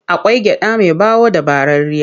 Akwai gyaɗa mai ɓawo da ɓararriya.